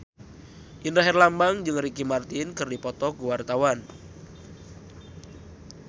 Indra Herlambang jeung Ricky Martin keur dipoto ku wartawan